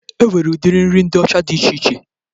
E nwere udiri nri ndị ọcha dị iche iche